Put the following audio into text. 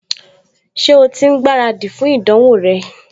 Ṣé o ti ń gbáradì fún ìdánwò rẹ?